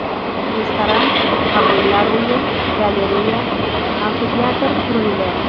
Restoran, qabullar uyi, galereya, amfiteatr qurildi.